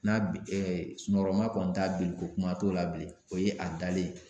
N'a bi ɛ sunɔgɔrɔma kɔni t'a bili ko kuma t'o la bilen o ye a dalen ye.